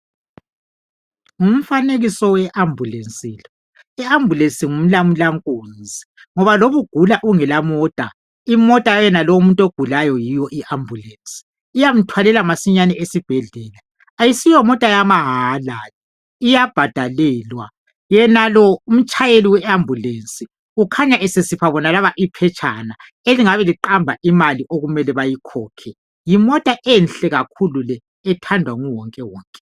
Ngumfanekiso we ambulesi lo. Imbulesi ngumlamula nkunzi ngoba noma ugula ungela mota imota yayenalowo umuntu ogulayo yiyo i ambulesi. Iyamthwalela masinyane esibhedlela. Qyisiyo mota yamahala le iyabhadalelwa. Yenalo umtshayeli we ambulesi ukhanya esesipha bonalaba iphetshana elingabe liqamba imali okumele bayikhokhe. Yimota enhle kakhulu le ethandwa nguwonke wonke.